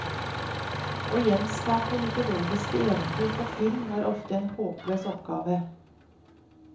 Å gjenskape mytologiske eventyr på film er ofte en håpløs oppgave.